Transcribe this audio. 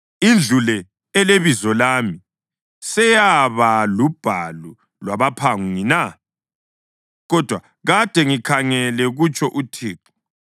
Indlu le, eleBizo lami, seyaba lubhalu lwabaphangi na? Kodwa kade ngikhangele! kutsho uThixo.